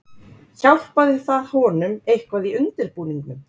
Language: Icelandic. Hjálpaði það honum eitthvað í undirbúningnum.